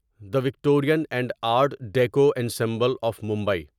the Victorian and art deco ensemble of Mumbai